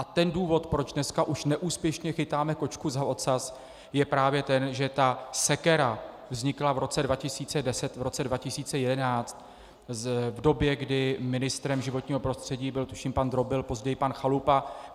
A ten důvod, proč dneska už neúspěšně chytáme kočku za ocas, je právě ten, že ta sekera vznikla v roce 2010, v roce 2011, v době, kdy ministrem životního prostředí byl tuším pan Drobil, později pan Chalupa.